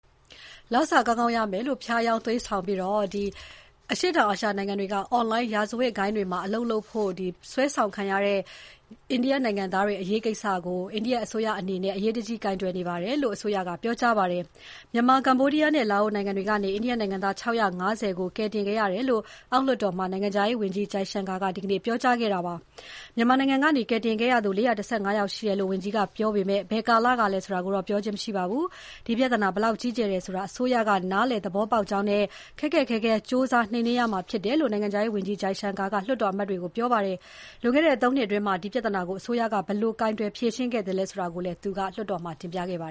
လစာကောင်းကောင်းရမယ်လို့ ဖျားယောင်းသွေးဆောင်ပြီး အရှေ့တောင်အာရှနိုင်ငံတွေက အွန်လိုင်းရာဇဝတ်ဂိုဏ်းတွေမှာ အလုပ်လုပ်ဖို့ အိန္ဒိယနိုင်ငံသားတွေ ဆွဲဆောင်ခံနေရတဲ့ကိစ္စကို အရေးကြီးတဲ့ကိစ္စအဖြစ် အိန္ဒိယအစိုးရက ကိုင်တွယ်နေတယ်လို့ ပြောကြားလိုက်ပါတယ်။ မြန်မာ၊ ကမ္ဘောဒီးယားနဲ့ လာအိုနိုင်ငံတွေကနေ အိန္ဒိယနိုင်ငံသား ၆၅၀ ကို ကယ်တင်ခဲ့ရတယ်လို့ အောက်လွှတ်တော်မှာ နိုင်ငံခြားရေးဝန်ကြီး S. Jaishankar က ဒီနေ့ ပြောကြားလိုက်ပါတယ်။ မြန်မာနိုင်ငံကနေ ကယ်တင်ခဲ့ရသူ ၄၁၅ ယောက်ရှိတယ်လို့ ဝန်ကြီးက ပြောပေမဲ့ ဘယ်ကာလကလည်းဆိုတာကို ပြောခြင်း မရှိပါဘူး။ ဒီပြဿနာဘယ်လောက်ကြီးကျယ်တယ်ဆိုတာ အစိုးရက နားလည်သဘောပေါက်ကြောင်းနဲ့ ခက်ခက်ခဲခဲ ကြိုးစားနှိမ်နှင်းရမှာဖြစ်တယ်လို့ နိုင်ငံခြားရေးဝန်ကြီး Jaishankar က လွှတ်တော်အမတ်တွေကို ပြောကြားခဲ့ပါတယ်။ လွန်ခဲ့တဲ့ ၃ နှစ်အတွင်း ဒီပြဿနာကို အစိုးရက ဘယ်လို ကိုင်တွယ်ဖြေရှင်းခဲ့သလဲဆိုတာကိုလည်း သူက တင်ပြခဲ့ပါ